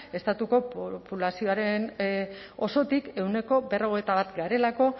estatuko populazioaren osotik ehuneko berrogeita bata garelako